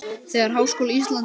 Þegar Háskóli Íslands